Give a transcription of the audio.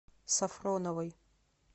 сафроновой